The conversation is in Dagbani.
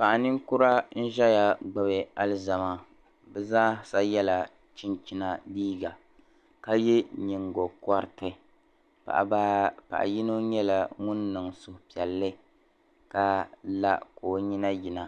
paɣa ninkura ʒiya gbubi alizama bɛ zaasa yɛla chinchina liiga ka ye nyingogɔriti paɣa baa paɣa yino nyɛla ŋuni niŋ suhupiɛlli ka la o nyina yina